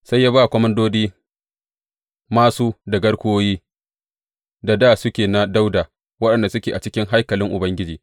Sai ya ba komandodin māsu da garkuwoyi da dā suke na Dawuda, waɗanda suke a cikin haikalin Ubangiji.